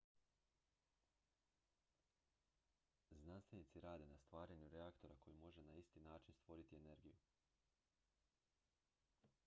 znanstvenici rade na stvaranju reaktora koji može na isti način stvoriti energiju